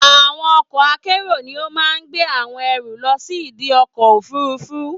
Àwọn ọkọ̀ akérò ni ó máa gbé àwọn ẹrù lọ sí ìdi ọkọ̀ òfurufú.